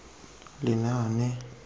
lenaane